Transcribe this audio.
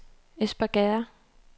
Espergærde